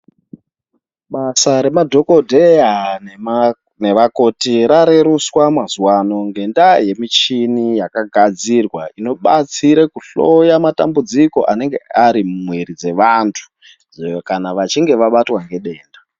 Basa remadhokodheya nevakoti rarerutswa mazuvaano ngendaa yemichini yakagadzirwa inobatsira kuhloya matambudziko anenge ari mumwiri dzevantu kana vachinge vabatwa nedenda.